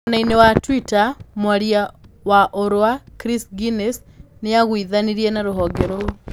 Mwena-inĩ wa twitter, mwaria wa Unrwa, Chris Gunness, nĩ aiguithanirie na rũhonge rũu.